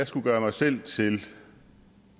skulle gøre mig selv til